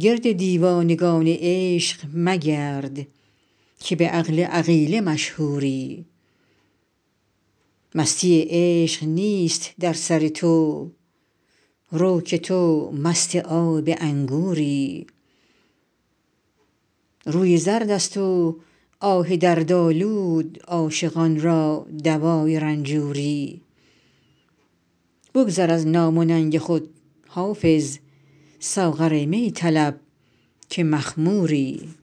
گرد دیوانگان عشق مگرد که به عقل عقیله مشهوری مستی عشق نیست در سر تو رو که تو مست آب انگوری روی زرد است و آه دردآلود عاشقان را دوای رنجوری بگذر از نام و ننگ خود حافظ ساغر می طلب که مخموری